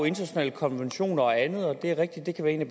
internationale konventioner og andet og det er rigtigt at det kan være en af